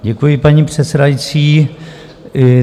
Děkuji, paní předsedající.